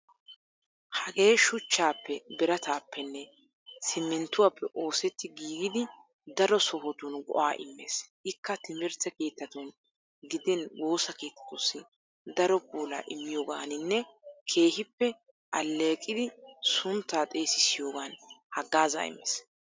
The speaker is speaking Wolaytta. Hagee shuchchaappe, birataappenne simminttuwaappe oosetti giigidi daro sohotun go'aa immees. Ikka timirtte keettattun gidin woosa keettatussi daro puulaa immiyoogaaninne keehippe alleeqidi sunttaa xeesissiyoogan haggaazzaa immees.